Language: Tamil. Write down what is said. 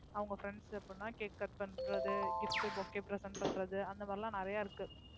அவங்க friends கு எப்படின்னா cake cut பண்றது, gift, bouquet present பண்றது, அந்தமாதிரி எல்லாம் நிறையா இருக்கு